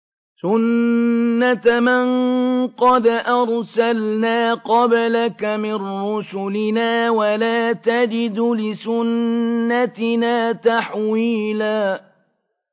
سُنَّةَ مَن قَدْ أَرْسَلْنَا قَبْلَكَ مِن رُّسُلِنَا ۖ وَلَا تَجِدُ لِسُنَّتِنَا تَحْوِيلًا